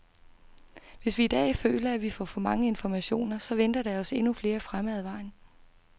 Hvis vi i dag føler, at vi får for mange informationer, så venter der os endnu flere fremme ad vejen.